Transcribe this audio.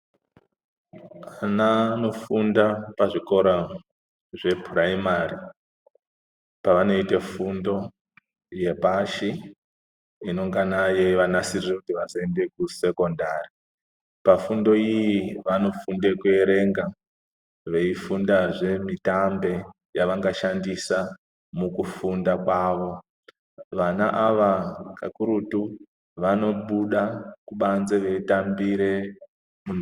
Ana anofunda pazvikora zvepuraimari pavanoite fundo yepashi inongana yeivanasirire kuti vazoende kusekondari pafundo iyi vanofunde kuerenga, veifundazve mitambe yavangashandisa mukufunda kwavo, vana ava kakurutu vanobuda kubanze veitambire.